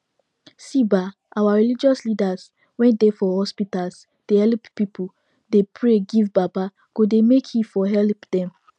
see bah our religious leadas wen dey for hospitas dey helep pipu dey pray give baba godey make he for helep dem